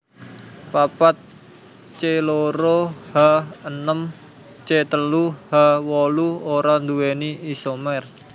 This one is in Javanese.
papat C loro H enem C telu H wolu ora nduwéni isomer